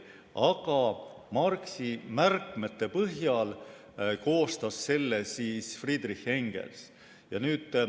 Aga Marxi märkmete põhjal koostas selle Friedrich Engels.